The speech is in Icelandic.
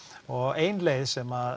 og ein leið sem